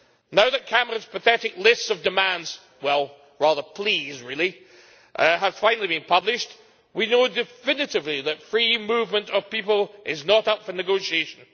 Now that Cameron's pathetic list of demands well, rather pleas, really have finally been published, we know definitively that free movement of people is not up for negotiation.